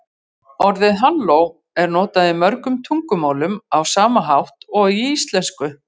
Orðið halló er notað í mörgum tungumálum á sama hátt og í íslensku.